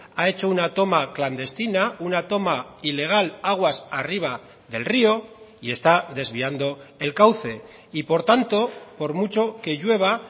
ha hecho una toma clandestina una toma ilegal aguas arriba del río y está desviando el cauce y por tanto por mucho que llueva